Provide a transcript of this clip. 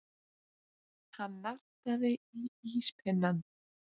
Hann nartaði í íspinnann.